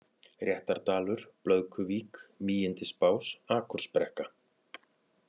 Réttardalur, Blöðkuvík, Mígindisbás, Akursbrekka